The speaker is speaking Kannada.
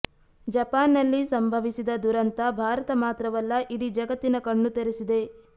ಜಪಾನ್ನಲ್ಲಿ ಸಂಭವಿಸಿದ ದುರಂತ ಭಾರತ ಮಾತ್ರವಲ್ಲ ಇಡೀ ಜಗತ್ತಿನ ಕಣ್ಣು ತೆರೆಸಿದೆ